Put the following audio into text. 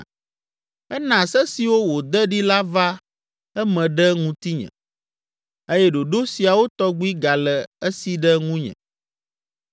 Ena se siwo wòde ɖi la va eme ɖe ŋutinye eye ɖoɖo siawo tɔgbi gale esi ɖe ŋunye.